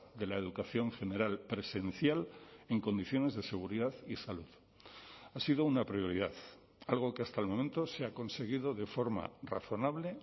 de la educación general presencial en condiciones de seguridad y salud ha sido una prioridad algo que hasta el momento se ha conseguido de forma razonable